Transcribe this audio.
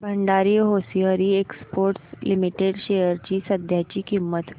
Bhandari hosiery exports limited shares ची सध्याची किंमत